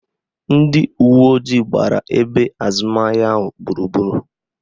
Ndị uwe ojii agbara ebe azụmahịa ahụ gburugburu?